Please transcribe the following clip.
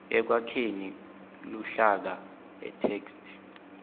ekwakheni luhlaka itheksthi